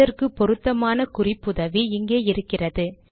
அதற்கு பொருத்தமான குறிப்புதவி இங்கே இருக்கிறது